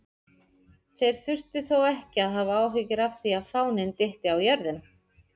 Þeir þurftu þó ekki að hafa áhyggjur af því að fáninn dytti á jörðina!